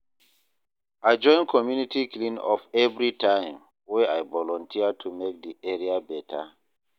I join community clean up everytime, wey I volunteer to make di area better.